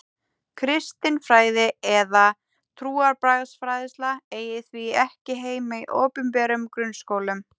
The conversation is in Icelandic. Kristin fræði eða trúarbragðafræðsla eigi því ekki heima í opinberum grunnskólum.